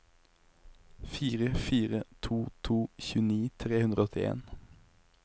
fire fire to to tjueni tre hundre og åttien